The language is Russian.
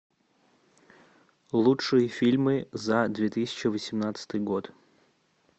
лучшие фильмы за две тысячи восемнадцатый год